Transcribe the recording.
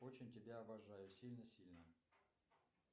очень тебя обожаю сильно сильно